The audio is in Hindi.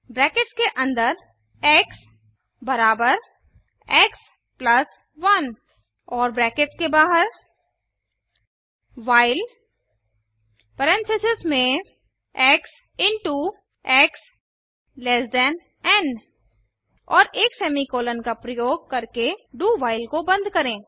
ब्रैकेट्स के अन्दर एक्स बराबर एक्स प्लस 1 और ब्रैकेट्स के बाहर व्हाइल परेन्थिसिस में एक्स इंटो एक्स एन और एक सेमीकॉलन का प्रयोग करके do व्हाइल को बंद करें